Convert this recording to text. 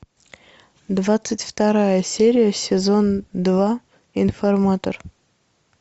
двадцать вторая серия сезон два информатор